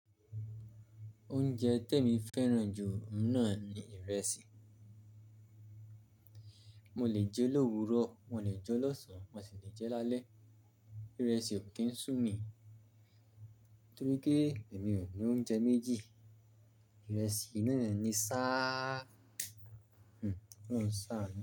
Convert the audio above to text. Oúnjẹ tè mi fẹ́ràn jù ná ni ìrẹsì. Mo lè jẹ lówurọ̀, mo lè jẹ lọ́sàn án, mo sì lè jẹ lálẹ́. Ìrẹsì ò kí ń sú mi torí pé èmi ó lò oúnjẹ méjì. Ìrẹsì yì na ni sáà, kò lorùn sá nù.